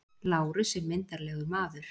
Lárus er myndarlegur maður.